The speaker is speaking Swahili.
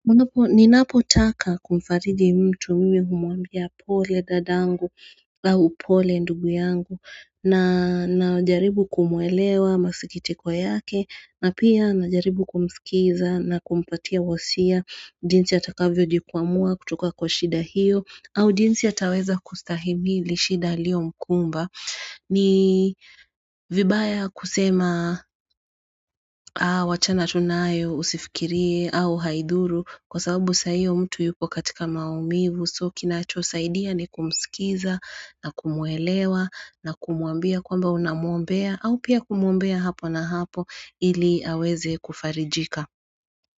Ninapotaka kumfariji mtu mimi humwambia pole dadangu au pole ndugu yangu na najaribu kumuelewa masikitiko yake na pia najaribu kumsikiza na kumpatia wasia jinsi atakavyojikwamua kutoka kwa shida hiyo au jinsi ataweza kustahimili shida iliyomkumba. Ni vibaya kusema wachana tu nayo usifikirie au haidhuru kwa sababu saa hiyo mtu yuko katika maumivu so kinachosaidia ni kumsikiza na kumuelewa na kumwambia kwamba unamuombea au pia kumuombea hapo na hapo ili aweze kufarijika.